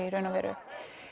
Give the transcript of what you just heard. í raun og veru